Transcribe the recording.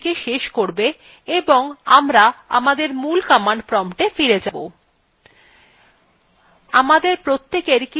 এইটি shell ২কে শেষ করবে এবং আমরা আমাদের মূল command promptwe ফিরে যাব